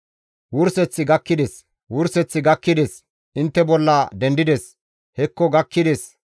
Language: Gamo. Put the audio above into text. Wurseththi gakkides! Wurseththi gakkides! Intte bolla dendides; hekko gakkides!